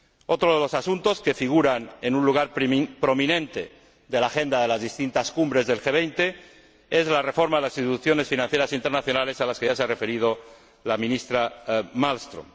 Otro de los asuntos que figuran en un lugar prominente de la agenda de las distintas cumbres del G 20 es la reforma de las instituciones financieras internacionales a la que ya se ha referido la Ministra Malmström.